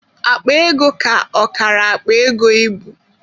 Akpa ego ka ọkara akpa ego ịbụ.